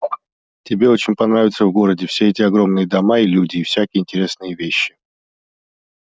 тебе очень понравится в городе все эти огромные дома и люди и всякие интересные вещи